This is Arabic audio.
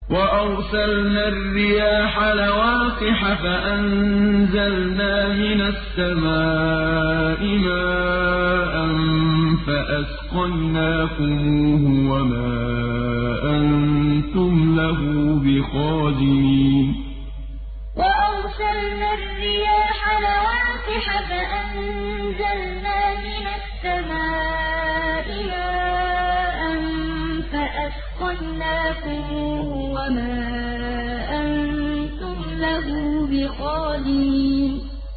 وَأَرْسَلْنَا الرِّيَاحَ لَوَاقِحَ فَأَنزَلْنَا مِنَ السَّمَاءِ مَاءً فَأَسْقَيْنَاكُمُوهُ وَمَا أَنتُمْ لَهُ بِخَازِنِينَ وَأَرْسَلْنَا الرِّيَاحَ لَوَاقِحَ فَأَنزَلْنَا مِنَ السَّمَاءِ مَاءً فَأَسْقَيْنَاكُمُوهُ وَمَا أَنتُمْ لَهُ بِخَازِنِينَ